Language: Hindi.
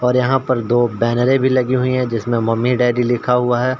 और यहाँ पर दो बैनरे भी लगी हुई है जिसमे मम्मी डैडी लिखा हुआ है।